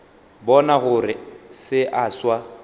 bona gore se a swa